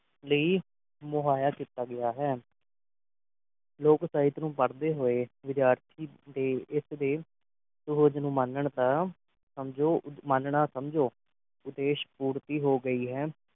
ਲੀ ਮੁਹਾਇਆ ਕੀਤਾ ਗਿਆ ਹੈ ਲੋਕ ਸਾਹਿਤ ਨੂੰ ਪੜ੍ਹਦੇ ਹੋਏ ਵਿਦਿਆਰਥੀ ਦੇ ਇਸ ਦੇ ਸੁਬੋਧ ਨੂੰ ਮਾਨਣ ਦਾ ਸਮਝੋ ਉਦ ਮਾਨਣਾ ਸਮਝੋ ਉਦੇਸ਼ ਪੂਰਤੀ ਹੋ ਗਈ ਹੈ